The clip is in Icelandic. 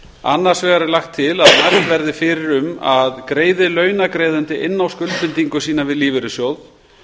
annars vegar er lagt til að mælt verði fyrir um að greiði launagreiðandi inn á skuldbindingu sína við lífeyrissjóð